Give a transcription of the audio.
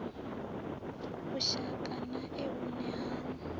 vhushaka na e vhune ha